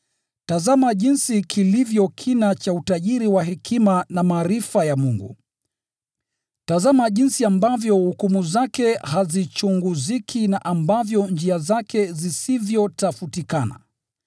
Tazama jinsi kilivyo kina cha utajiri wa hekima na maarifa ya Mungu! Tazama jinsi ambavyo hukumu zake hazichunguziki, na ambavyo njia zake zisivyotafutikana!